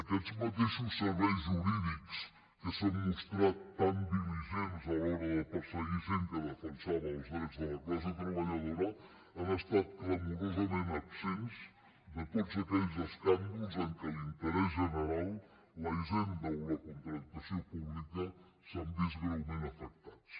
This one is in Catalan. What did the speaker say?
aquests mateixos serveis jurídics que s’han mostrat tan diligents a l’hora de perseguir gent que defensava els drets de la classe treballadora han estat clamorosament absents de tots aquells escàndols en què l’interès general la hisenda o la contractació pública s’han vist greument afectats